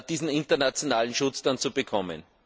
diesen internationalen Schutz dann zu bekommen?